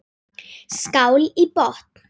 Skál í botn!